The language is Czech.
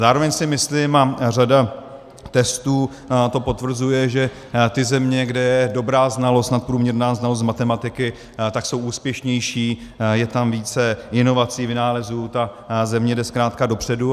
Zároveň si myslím, a řada testů to potvrzuje, že ty země, kde je dobrá znalost, nadprůměrná znalost z matematiky, tak jsou úspěšnější, je tam více inovací, vynálezů, ta země jde zkrátka dopředu.